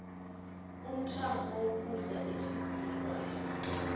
umthamo wokudla esikudlayo